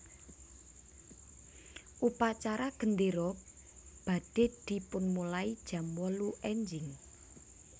Upacara gendero badhe dipunmulai jam wolu enjing